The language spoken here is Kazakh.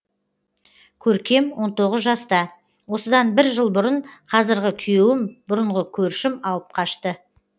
көркем он тоғыз жаста осыдан бір жыл бұрын қазіргі күйеуім бұрынғы көршім алып қашты